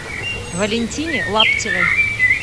валентине лаптевой